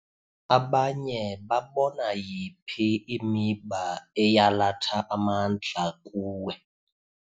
Abanye babona yiphi imiba eyalatha amandla kuwe?